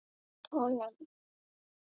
Held honum.